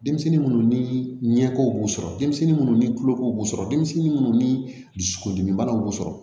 Denmisɛnnin munnu ni ɲɛko b'u sɔrɔ denmisɛnnin munnu ni tuloko b'u sɔrɔ denmisɛnnin munnu ni dusukolo dimi banaw b'u sɔrɔ